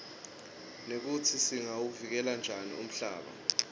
nekutsi singawuvikela njani umhlaba